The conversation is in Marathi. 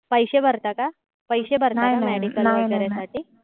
पैसे भरता का? पैसे भरता का? medical वगैरे साठी